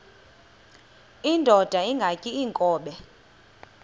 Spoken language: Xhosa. indod ingaty iinkobe